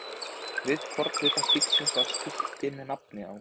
Við hvorn hluta stígsins var skilti með nafni á.